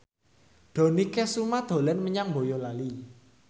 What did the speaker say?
Dony Kesuma dolan menyang Boyolali